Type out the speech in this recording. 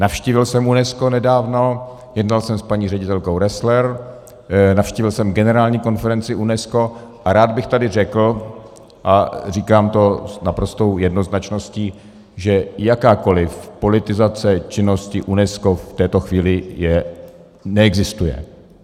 Navštívil jsem UNESCO nedávno, jednal jsem s paní ředitelkou Roessler, navštívil jsem generální konferenci UNESCO a rád bych tady řekl, a říkám to s naprostou jednoznačností, že jakákoliv politizace činnosti UNESCO v této chvíli neexistuje.